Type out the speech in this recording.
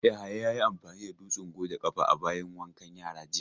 Yahaya ya yi amfani da dutsen goge ƙafa a bayin wankan yara jiya.